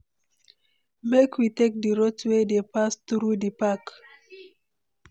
Make we take di route wey dey pass through di park.